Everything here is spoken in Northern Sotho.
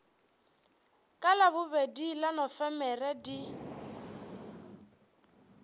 ka labobedi la nofemere di